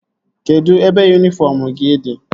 Kedụ ebe yunifọm gị dị?